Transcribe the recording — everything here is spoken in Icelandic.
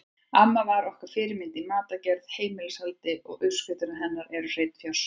Amma var okkar fyrirmynd í matargerð og heimilishaldi og uppskriftirnar hennar eru hreinn fjársjóður.